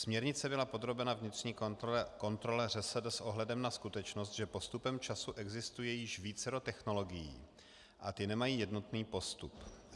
Směrnice byla podrobena vnitřní kontrole ŘSD s ohledem na skutečnost, že postupem času existuje již vícero technologií a ty nemají jednotný postup.